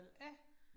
Ja